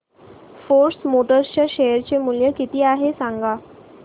force Motors च्या share चे मूल्य किती आहे सांगा